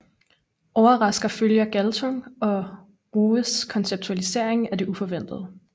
Overraskelser følger Galtung og Ruges konceptualisering af det uforventede